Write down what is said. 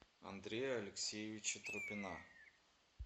андрея алексеевича тропина